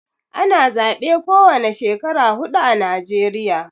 Ana zabe ko wane Shekara hudu ã Najeriya.